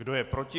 Kdo je proti?